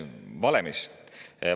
Valemist?